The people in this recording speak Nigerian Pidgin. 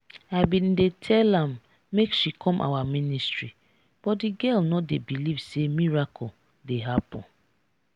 i bin dey tell am make she come our ministry but the girl no dey believe say miracle dey happen.